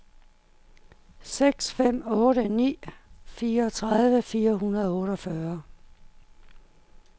seks fem otte ni fireogtredive fire hundrede og otteogfyrre